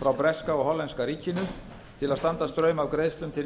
frá breska og hollenska ríkinu til að standa straum af greiðslum til